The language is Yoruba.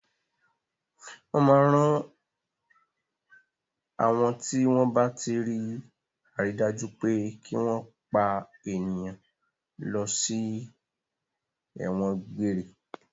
Wọ́n máa ń rán àwọn tí wọ́n bá tí rí àrídájú pé kí wọ́n pa ènìyàn lọ sí ẹ̀wọ̀n gbére.